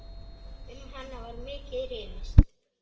Um hana var mikið rifist.